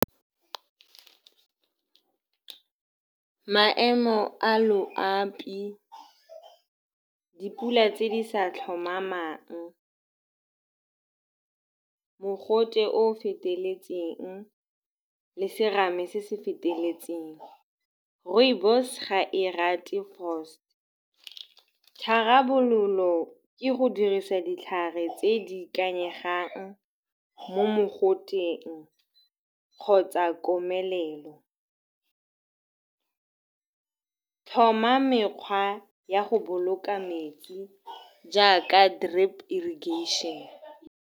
.Maemo a loapi, dipula tse di sa tlhomamang, mogote o o feteletseng le serame se se feteletseng. Rooibos-e ga e rate . Tharabololo ke go dirisa ditlhare tse di ikanyegang mo mogoteng kgotsa komelelo, thoma mekgwa ya go boloka metsi jaaka drip irrigation-e.